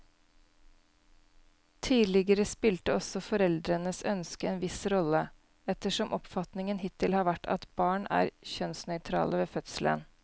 Tidligere spilte også foreldrenes ønske en viss rolle, ettersom oppfatningen hittil har vært at barn er kjønnsnøytrale ved fødselen.